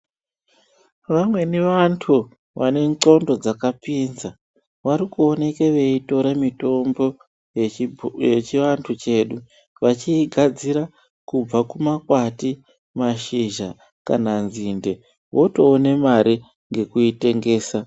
Vamweni vantu vane ndxondo dzakapinza vari kuoneke veitore mutombo yevhibho yechiantu chedu vechiigadzira kubva kumakwati mashizha kana nzinde votoona mari ngekuitengesa.